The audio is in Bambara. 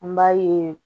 An b'a ye